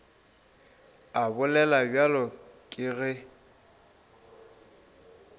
a bolela bjalo ke ge